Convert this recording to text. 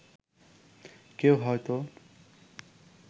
কেউ হয়ত